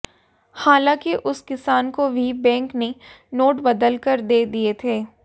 हालांकि उस किसान को भी बैंक ने नोट बदलकर दे दिये थे